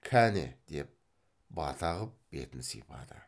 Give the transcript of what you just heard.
кәне деп бата қып бетін сипады